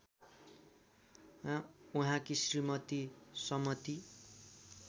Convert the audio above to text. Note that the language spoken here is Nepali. उहाँकी श्रीमती समती